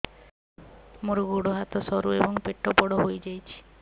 ମୋର ଗୋଡ ହାତ ସରୁ ଏବଂ ପେଟ ବଡ଼ ହୋଇଯାଇଛି